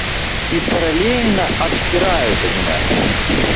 и параллельно обсирают аниме